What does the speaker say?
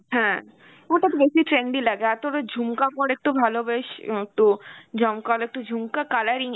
হ্যাঁ ওটা তো বেশি trendy লাগে, আর তোর ওই ঝুমকা পর একটু ভালো বেশ উম তো জমকালো একটু ঝুমকা, colour